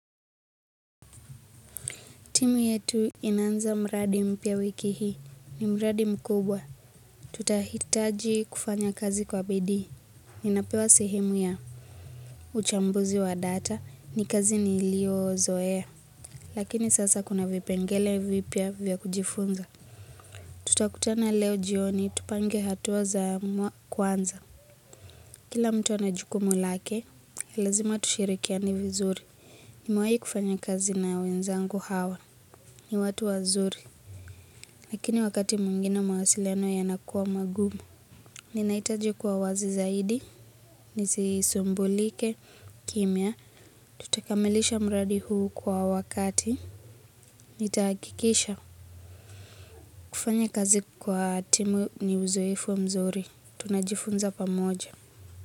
Timu yetu inaanza mradi mpya wiki hii. Ni mradi mkubwa. Tutahitaji kufanya kazi kwa bidii. Ninapewa sehemu ya uchambuzi wa data, ni kazi niliyozoea. Lakini sasa kuna vipengele vipya vya kujifunza. Tutakutana leo jioni tupange hatua za kwanza. Kila mtu ana jukumu lake lazima tushirikiane vizuri. Nimewahi kufanya kazi na wenzangu hawa, ni watu wazuri. Lakini wakati mwingine mawasiliano yanakuwa magumu. Ninahitaji kuwa wazi zaidi, nisisumbulike kimya. Tutakamilisha mradi huu kwa wakati. Nitahakikisha kufanya kazi kwa timu ni uzoefu mzuri. Tunajifunza pamoja.